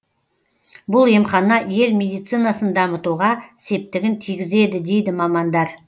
бұл емхана ел медицинасын дамытуға септігін тигізеді дейді мамандар